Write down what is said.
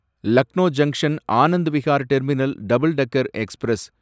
Lucknow junction Anand Vihar terminal double decker express